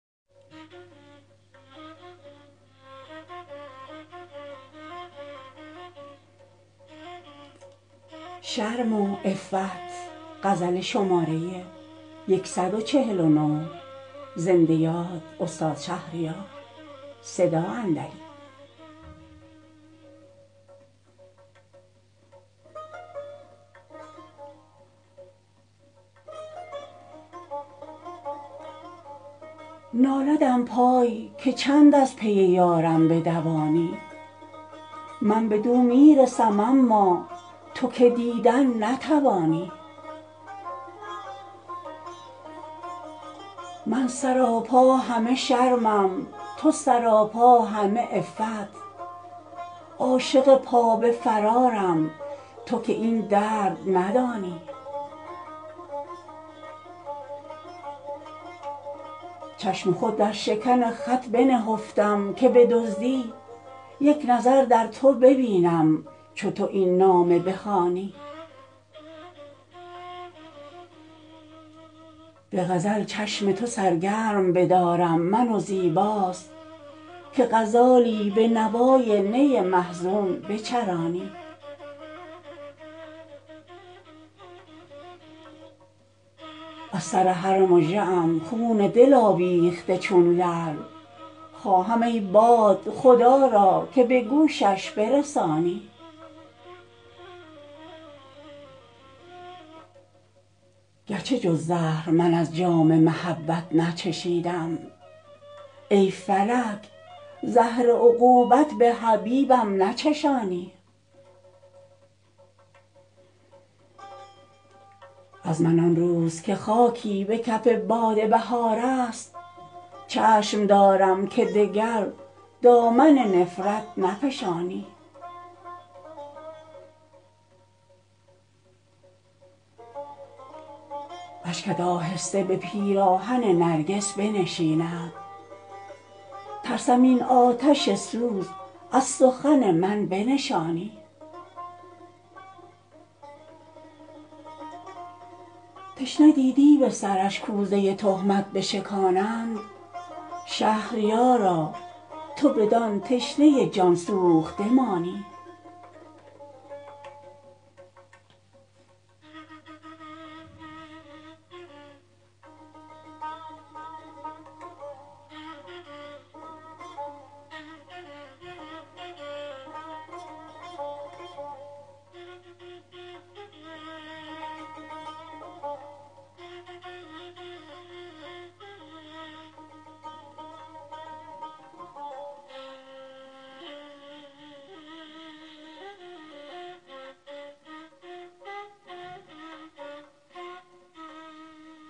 نالدم پای که چند از پی یارم بدوانی من بدو میرسم اما تو که دیدن نتوانی من سراپا همه شرمم تو سراپا همه عفت عاشق پا به فرارم تو که این درد ندانی چشم خود در شکن خط بنهفتم که بدزدی یک نظر در تو ببینم چو تو این نامه بخوانی به غزل چشم تو سرگرم بدارم من و زیباست که غزالی به نوای نی محزون بچرانی از سرهر مژه ام خون دل آویخته چون لعل خواهم ای باد خدا را که به گوشش برسانی گرچه جز زهر من از جام محبت نچشیدم ای فلک زهر عقوبت به حبیبم نچشانی از من آن روز که خاکی به کف باد بهار است چشم دارم که دگر دامن نفرت نفشانی اشکت آهسته به پیراهن نرگس بنشیند ترسم این آتش سوز از سخن من بنشانی تشنه دیدی به سرش کوزه تهمت بشکانند شهریارا تو بدان تشنه جان سوخته مانی